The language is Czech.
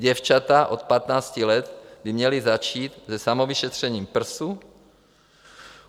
Děvčata od 15 let by měla začít se samovyšetřením prsu.